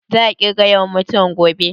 Za su ƙirga yawan mutuwan gobe?